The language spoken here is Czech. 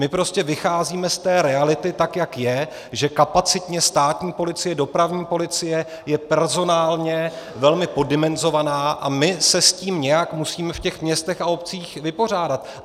My prostě vycházíme z té reality, tak jak je, že kapacitně státní policie, dopravní policie je personálně velmi poddimenzovaná, a my se s tím nějak musíme v těch městech a obcích vypořádat.